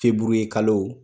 Feburuyekalo